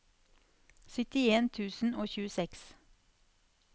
syttien tusen og tjueseks